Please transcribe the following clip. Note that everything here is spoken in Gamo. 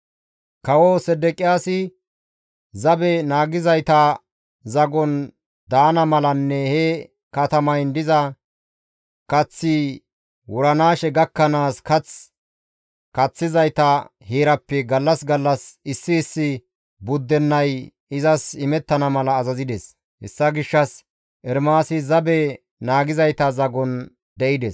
Kawo Sedeqiyaasi zabe naagizayta zagon daana malanne he katamayn diza kaththi wuranaashe gakkanaas kath kaththizayta heerappe gallas gallas issi issi buddennay izas imettana mala azazides; hessa gishshas Ermaasi zabe naagizayta zagon de7ides.